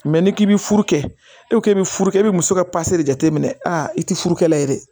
n'i k'i bɛ furu kɛ e k'e bɛ furu kɛ e bɛ muso ka de jateminɛ i tɛ furukɛla ye dɛ